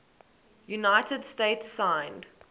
united states signed